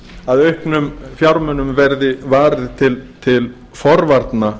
að auknum fjármunum verði varið til forvarna